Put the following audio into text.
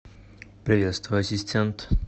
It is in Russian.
приветствую ассистент